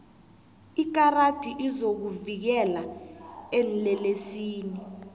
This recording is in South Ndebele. ikarati izokuvikela eenlelesini